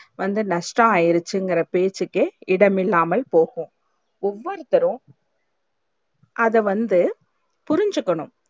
வந்து நஷ்டம் ஆயிருச்ச்சி இங்க பேச்சிக்கே இடம் இல்லாமல் போகும் ஒவ்வருத்தொரும் அத வந்து புரிச்சிக்கனும்